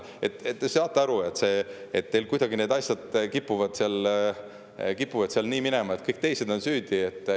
Te saate aru, et teil kuidagi need asjad kipuvad seal nii minema, et kõik teised on süüdi.